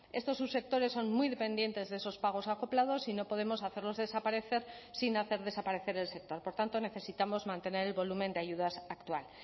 estos subsectores son muy dependientes de esos pagos acoplados y no podemos hacerlos desaparecer sin hacer desaparecer el sector por tanto necesitamos mantener el volumen de ayudas actual